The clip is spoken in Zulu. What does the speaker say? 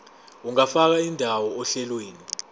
ungafaka indawo ohlelweni